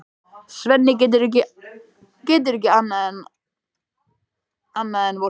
Svenni getur ekki annað en vorkennt honum.